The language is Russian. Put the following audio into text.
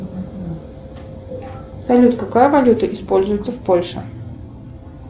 салют какая валюта используется в польше